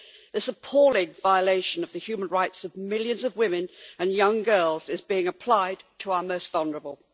This appalling violation of the human rights of millions of women and young girls is being applied to our most vulnerable.